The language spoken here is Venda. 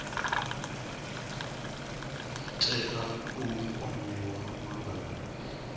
tea u kwamiwa malugana na